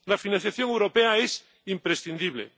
La financiación europea es imprescindible.